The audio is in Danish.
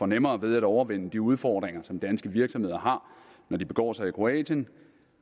nemmere ved at overvinde de udfordringer som danske virksomheder har når de begår sig i kroatien